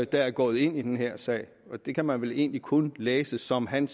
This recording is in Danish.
der er gået ind i den her sag det kan man vel egentlig kun læse som hans